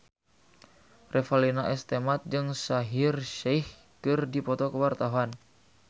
Revalina S. Temat jeung Shaheer Sheikh keur dipoto ku wartawan